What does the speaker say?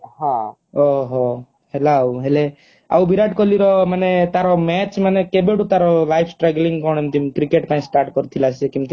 ହଁ ଓହୋ ହେଲା ଆଉ ହେଲେ ଆଉ ବିରାଟ କୋହଲି ର ମାନେ ତାର ମ୍ଯାଚ ମାନେ କେବେଠୁ ତାର life struggling କଣ କେମତି କ୍ରିକେଟ ପାଇଁ start କରିଥିଲା ସେ